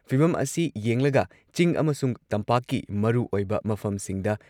ꯐꯤꯚꯝ ꯑꯁꯤ ꯌꯦꯡꯂꯒ ꯆꯤꯡ ꯑꯃꯁꯨꯡ ꯇꯝꯄꯥꯛꯀꯤ ꯃꯔꯨꯑꯣꯏꯕ ꯃꯐꯝꯁꯤꯡꯗ